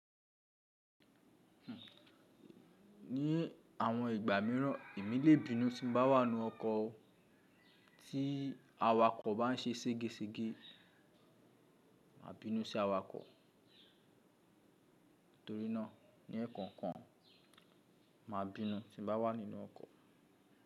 Ní àwọn ìgbà míràn èmi lè bínú tí n bá wà nínú ọkọ̀ o. Tí awakọ̀ bá n ṣe sége sége, màá bínú sí awakọ̀. Torínà ní ẹ̀ẹ̀kọ̀kan, màá bínú tí n bá wà nínú ọkọ̀.